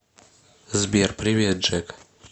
сбер привет джек